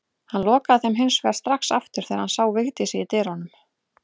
Hann lokaði þeim hins vegar strax aftur þegar hann sá Vigdísi í dyrunum.